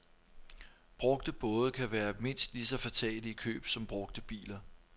Brugte både kan være mindst lige så fatale i køb som brugte biler.